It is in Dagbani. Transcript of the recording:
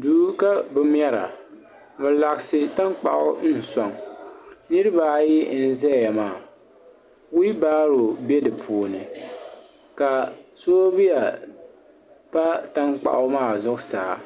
Duu ka bɛ mɛra bɛ laɣasi tankpaɣu n soŋ niriba ayi n zaya maa fiibaro be dipuuni ka soobuya pa tankpaɣu maa zuɣusaa